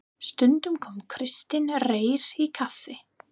Stundum kom Kristinn Reyr í kaffi.